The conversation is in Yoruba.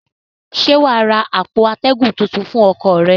Ṣé wà á ra àpò atẹ́gùn tuntun fún ọkọ̀ rẹ?